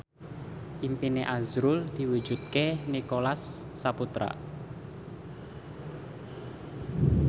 impine azrul diwujudke karo Nicholas Saputra